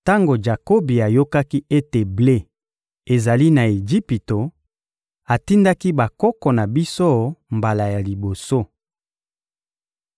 Tango Jakobi ayokaki ete ble ezali na Ejipito, atindaki bakoko na biso mbala ya liboso.